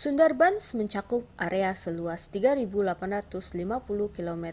sundarbans mencakup area seluas 3.850 kmâ²